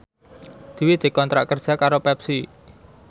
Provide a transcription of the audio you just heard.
Dwi dikontrak kerja karo Pepsi